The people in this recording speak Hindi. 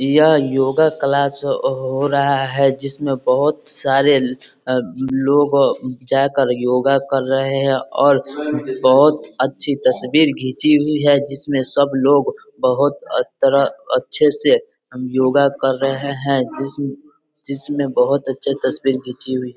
यह योगा क्लास हो रहा है जिस में बहोत सारे अ लोग जा कर योगा कर रहे है और बहोत अच्छी तस्बीर खींची हुई है जिसमें सब लोग बहोत तरह अच्छे से योगा कर रहे है जिसमे जिसमे बहोत अच्छा तस्बीर घिची हुई है |